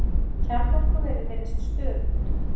Kjarnorkuverið virðist stöðugt